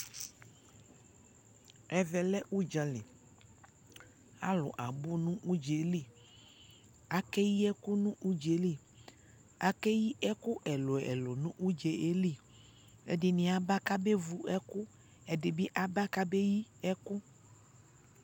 ɛvɛ lɛ ʋdzali, alʋ abʋ nʋ ʋdzaɛ ɛli, akɛ yi ɛkʋ nʋ ʋdzaɛ li, akɛyi ɛkʋ ɛlʋɛlʋ nʋ ʋdzaɛ li, ɛdini aba kʋ abɛ vʋ ɛkʋ, ɛdibi aba kʋ yii ɛkʋ